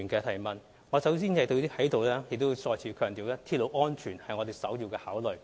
首先，我想在這裏再次強調，鐵路安全是我們的首要考慮。